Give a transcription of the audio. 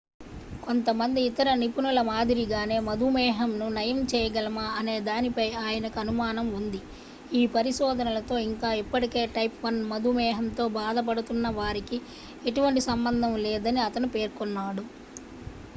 కొంతమంది ఇతర నిపుణుల మాదిరిగానే మధుమేహంను నయం చేయగలమా అనే దానిపై ఆయనకు అనుమానం ఉంది ఈ పరిశోధనలతో ఇంకా ఇప్పటికే టైప్ 1 మధుమేహంతో బాధపడుతున్న వారికీ ఎటువంటి సంబంధం లేదని అతను పేర్కొన్నాడు